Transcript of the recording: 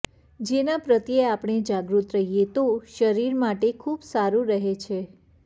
જેના પ્રત્યે આપણે જાગૃત રહીએ તો શરીર માટે ખૂબ સારુ રહે છે